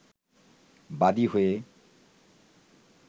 বাদি হয়ে